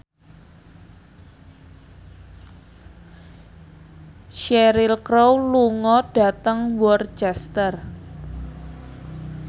Cheryl Crow lunga dhateng Worcester